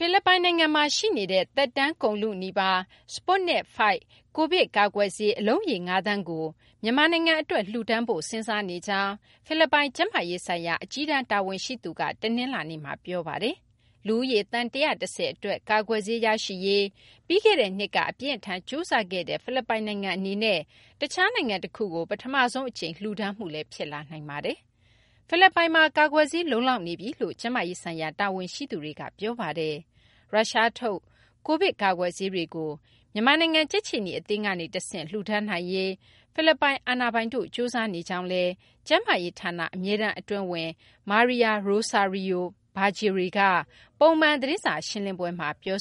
ိလစ်ပိုင် နိုင်ငံမှာ ရှိနေတဲ့ သက်တမ်း ကုန်လုနီးပါး Sputnik V Covid ကာကွယ်ဆေး အလုံးရေ ၅ သန်းကို မြန်မာနိုင်ငံကို လှူဒါန်းဖို့ စဉ်းစားနေကြောင်း ဖိလစ်ပိုင် ကျန်းမာရေးဆိုင်ရာ အကြီးတန်း တာဝန်ရှိသူက တနလာင်္နေ့မှာ ပြောပါတယ်။ လူဦးရေ သန်း ၁၁၀ အတွက် ကာကွယ်ဆေး ရရှိရေး ပြီးခဲ့တဲ့နှစ်က အပြင်းအထန် ကြိုးစားခဲ့တဲ့ ဖိလစ်ပိုင်နိုင်ငံ အနေနဲ့ တခြား နိုင်ငံ တခုကို ပထမဆုံး အကြိမ် လှူဒါန်းမှုလည်း ဖြစ်လာနိုင်ပါတယ်။ ဖိလစ်ပိုင်မှာ ကာကွယ်ဆေး လုံလောက်နေပြီလို့လည်း ကျန်းမာရေး ဆိုင်ရာ တာဝန်ရှိသူတွေက ပြောပါတယ်။ ရုရှားထုတ် Covid ကာကွယ်ဆေးတွေကို မြန်မာနိုင်ငံ ကြက်ခြေနီ အသင်းကနေ တဆင့် လှူဒါန်းနိုင်ရေး ဖိလစ်ပိုင် အာဏာပိုင်တို့ ကြိုးစားနေကြောင်း ကျန်းမာရေး ဌာန အမြဲတမ်း အတွင်းဝန် Maria Rosario Vergeire က ပုံမှန် သတင်းစာ ရှင်းလင်းပွဲမှာ ပြော